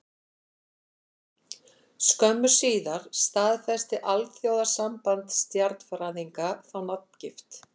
Skömmu síðar staðfesti Alþjóðasamband stjarnfræðinga þá nafngift.